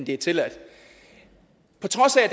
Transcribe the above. det tilladte på trods af